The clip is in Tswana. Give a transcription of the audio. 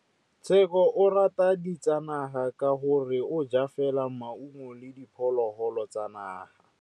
Tshekô o rata ditsanaga ka gore o ja fela maungo le diphologolo tsa naga.